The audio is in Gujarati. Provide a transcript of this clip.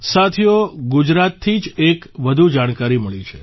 સાથીઓ ગુજરાતથી જ એક વધુ જાણકારી મળી છે